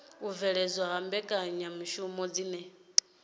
u bveledzwa ha mbekanyamishumo dzine